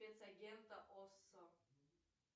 спецагента оссо